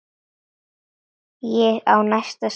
Ég á næsta skref.